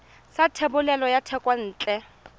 sa thebolo ya thekontle ya